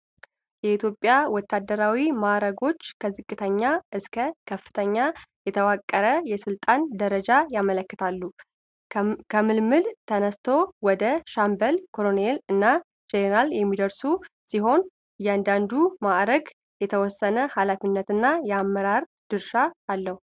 የኢትዮጵያ ወታደራዊ ማዕረጎች ከዝቅተኛው እስከ ከፍተኛው የተዋቀረ የሥልጣን ደረጃን ያመለክታሉ። ከምልምል ተነስቶ ወደ ሻምበል ፣ ኮሎኔል እና ጄኔራል የሚደርሱ ሲሆን፣ እያንዳንዱ ማዕረግ የተወሰነ ኃላፊነትና የአመራር ድርሻ አለው።